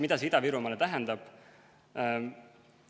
Mida see Ida-Virumaale tähendab?